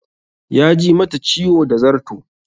Ya ji mata ciwo da zarto